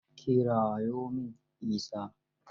Kirawo min Isa.